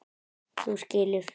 Þú skilur.